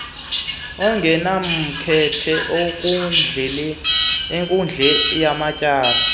ongenamkhethe enkundleni yamatyala